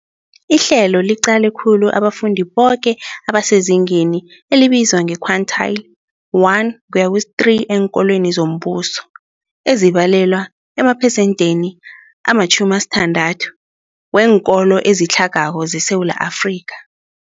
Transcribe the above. Ihlelo liqale khulu abafundi boke abasezingeni elibizwa nge-quintile 1-3 eenkolweni zombuso, ezibalelwa emaphesentheni ama-60, weenkolo ezitlhagako zeSewula Afrika.